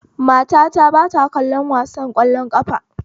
Matata ba ta kallon wasan ƙwallon ƙafa